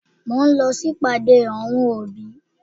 Mo ń lọ sí ìpàdé àwọn òbí.